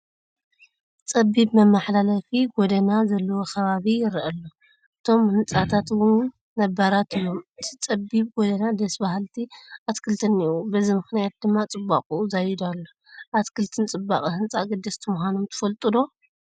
ፀቢብ መመሓላለፊ ጐደና ዘለዎ ከባቢ ይርአ ኣሎ፡፡ እቶም ህንፃታት እውን ነባራት እዮም፡፡ ኣብቲ ፀቢብ ጐደና ደስ በሃልቲ ኣትክልቲ እኔዉ፡፡ በዚ ምኽንያት ድማ ፅባቐኡ ዛይዱ ኣሎ፡፡ ኣትክልቲ ንፅባቐ ህንፃ ኣገደስቲ ምዃኖም ትፈልጡ ዶ?